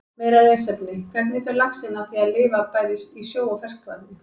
Meira lesefni: Hvernig fer laxinn að því að lifa bæði í sjó og ferskvatni?